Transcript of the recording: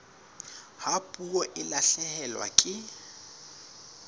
ha puo e lahlehelwa ke